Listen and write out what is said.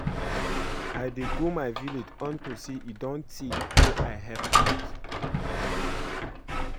I dey go my village unto say e don tey wey I help out